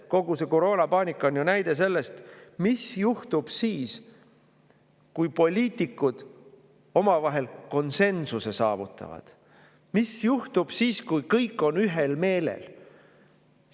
Kogu see koroonapaanika on näide sellest, mis juhtub siis, kui poliitikud omavahel konsensuse saavutavad, mis juhtub siis, kui kõik on ühel meelel.